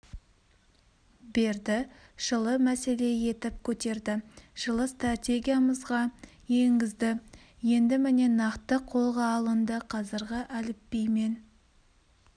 берді жылы мәселе етіп көтерді жылы стратегиямызға енгізді енді міне нақты қолға алынды қазіргі әліпбимен